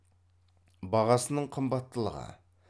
бағасының қымбаттылығы